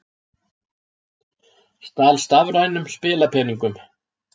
Stal stafrænum spilapeningum